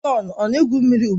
Jọn ọ na-egwu mmiri ugbu a?